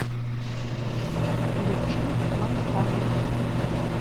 включи мантану